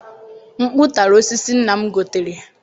Mkpụ tara osisi nna m gotere.